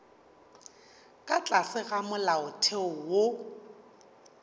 ka tlase ga molaotheo wo